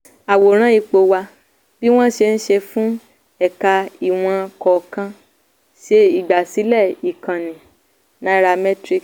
àwòrán ipò wa a. bí wọ́n ṣe ń ṣe fún ẹ̀ka ìwọ̀n kọ̀ọ̀kan: ṣe ìgbàsílẹ́ ìkànnì nairametrics.